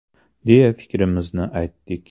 – deya fikrimizni aytdik.